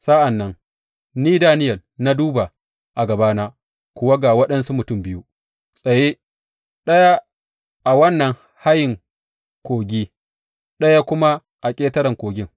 Sa’an nan ni, Daniyel, na duba, a gabana kuwa ga waɗansu mutum biyu tsaye, ɗaya a wannan hayen kogi ɗaya kuma a ƙetaren kogin.